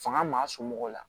Fanga maa somɔgɔw la